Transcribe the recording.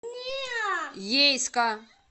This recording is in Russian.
ейска